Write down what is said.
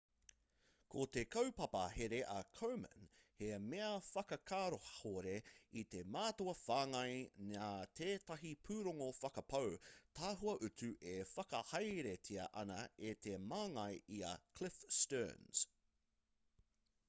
ko te kaupapa here a komen he mea whakakahore i te mātua whāngai nā tētahi pūrongo whakapau tahua utu e whakahaeretia ana e te māngai i a cliff sterns